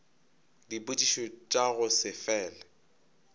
dipotšišo tša go se fele